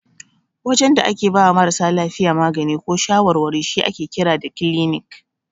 Wajen da ake bawa marasa lafiya magani ko shawarwari shi ake kira da kilinik.